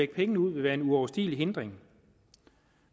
pengene ud vil være uoverstigelig hindring